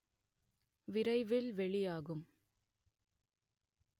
விரைவில் வெளியாகும்